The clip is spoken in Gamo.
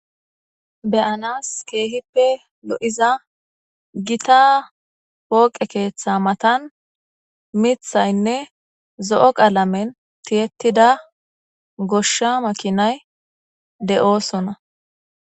beyanas keehippe lo'iza gita pooqe keeththa matan mithaynne zo'o qaalamen tiyettida goshsha makinay de'oosona.